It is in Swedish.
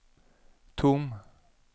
tom